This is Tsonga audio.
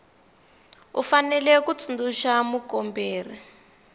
u fanele ku tsundzuxa mukomberi